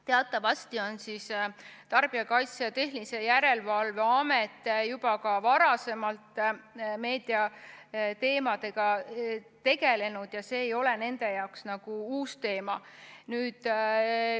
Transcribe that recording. Teatavasti on Tarbijakaitse ja Tehnilise Järelevalve Amet juba varemgi meediateemadega tegelenud ja see ei ole nende jaoks uus asi.